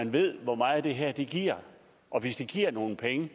ved hvor meget det her giver og hvis det giver nogle penge